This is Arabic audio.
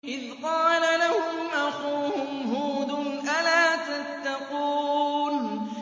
إِذْ قَالَ لَهُمْ أَخُوهُمْ هُودٌ أَلَا تَتَّقُونَ